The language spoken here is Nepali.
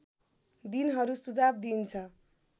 दिनहरू सुझाव दिइन्छ